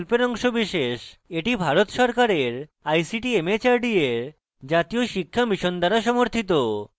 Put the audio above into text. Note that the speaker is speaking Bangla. এটি ভারত সরকারের ict mhrd এর জাতীয় শিক্ষা mission দ্বারা সমর্থিত